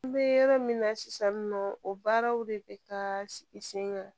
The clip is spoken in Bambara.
N bɛ yɔrɔ min na sisan nɔ o baaraw de bɛ taa sigi sen kan